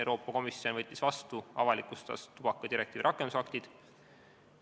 Euroopa Komisjon võttis vastu ja avalikustas tubakadirektiivi rakendusaktid.